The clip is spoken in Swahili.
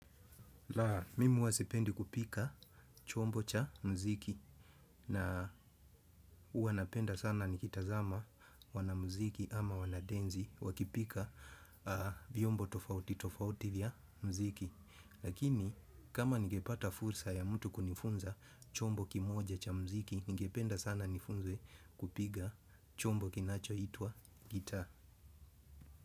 Mimi huwa sipendi kupiga chombo cha mziki na huwa napenda sana nikitazama wanamziki ama wanadensi wakipiga vyombo tofauti tofauti vya mziki. Lakini kama nigepata fursa ya mtu kunifunza chombo kimoja cha mziki, ningependa sana nifunzwe kupiga chombo kinachoitwa gita.